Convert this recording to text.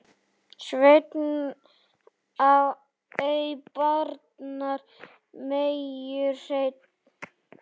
Sveinn ei barnar meyju hreinn.